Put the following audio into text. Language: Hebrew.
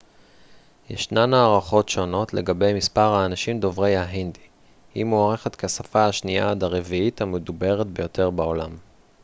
ישנן הערכות שונות לגבי מספר האנשים דוברי ההינדי היא מוערכת כשפה השנייה עד הרביעית המדוברת ביותר בעולם